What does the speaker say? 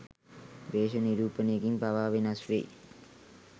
වේශ නිරූපණයකින් පවා වෙනස් වෙයි.